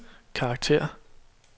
karakter